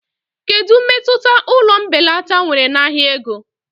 Kedu mmetụta ụlọ mbelata nwere na ahịa ego?